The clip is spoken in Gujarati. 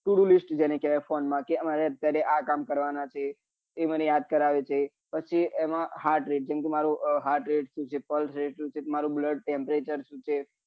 બ to do list જેને કેવાય કે ફોન માં કે મારે અત્યારે મારે આ કામ કરવા ના છે એ મને યાદ કરાવે છે પછી એમાં heart rate જેમ કે શું છે મારું pulse rate શું છે મારું blood temperature શું છે